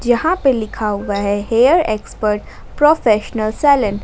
यहां पे लिखा हुआ है हेयर एक्सपर्ट प्रोफेशनल सलून।